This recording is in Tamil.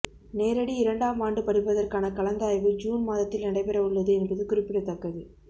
நேரடி இரண்டாம் ஆண்டு படிப்பதற்கான கலந்தாய்வு ஜூன் மாதத்தில் நடைபெற உள்ளது என்பது குறிப்பிடத்தக்கது